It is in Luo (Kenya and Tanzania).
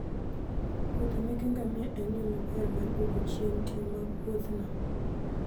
muodhe meke ngamia en yo maber mar duoko chien ting' mag Wuothno.